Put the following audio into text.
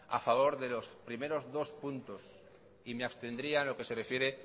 a favor de los primeros dos puntos y me abstendría en lo que se refiere